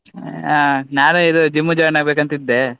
ಹಾ ನಾನು ಇದು gym join ಆಗ್ಬೇಕಂತ ಇದ್ದೆ.